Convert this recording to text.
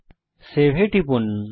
এখন সেভ এ টিপুন